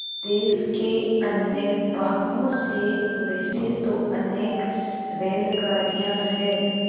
देश के अन्य भागों से वैसे तो अनेक रेलगाड़ियाँ हैं